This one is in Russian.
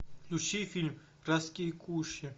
включи фильм райские кущи